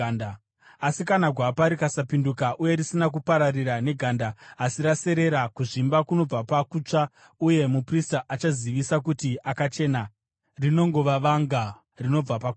Asi kana gwapa rikasapinduka uye risina kupararira neganda, asi raserera, kuzvimba kunobva pakutsva uye muprista achazivisa kuti akachena, rinongova vanga rinobva pakutsva.